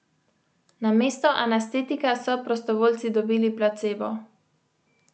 Namesto anestetika so prostovoljci dobili placebo.